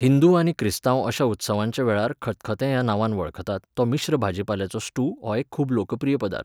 हिंदू आनी क्रिस्तांव अशा उत्सवांच्या वेळार खतखाते ह्या नांवान वळखतात तो मिश्र भाजीपाल्याचो स्ट्यू हो एक खूब लोकप्रिय पदार्थ.